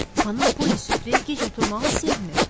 Xanım Poli süfrəyə gec oturmağı sevmir.